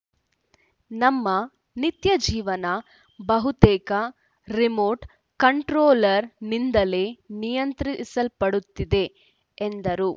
ನಮ್ಮ ನಿತ್ಯಜೀವನ ಬಹುತೇಕ ರಿಮೋಟ್‌ ಕಂಟ್ರೋಲರ್‌ನಿಂದಲೇ ನಿಯಂತ್ರಿಸಲ್ಪಡುತ್ತಿದೆ ಎಂದರು